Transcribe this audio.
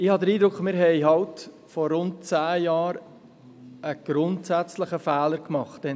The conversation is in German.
Ich habe den Eindruck, dass wir vor rund zehn Jahren bei diesem Geschäft einen grundsätzlichen Fehler gemacht haben.